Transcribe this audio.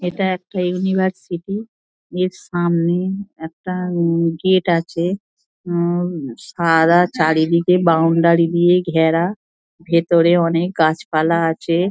এটা একটা ইউনিভার্সিটি এর সামনে একটা গেট আছে উমম সারা চারিদিকে বাউন্ডারি দিয়ে ঘেরা ভিতরে অনেক গাছপালা আছে।